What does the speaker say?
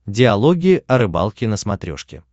диалоги о рыбалке на смотрешке